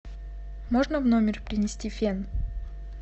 можно в номер принести фен